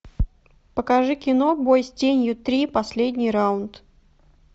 покажи кино бой с тенью три последний раунд